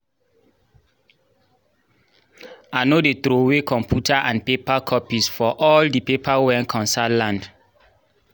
i no dey throway computa and paper copies for all the paper wen concern land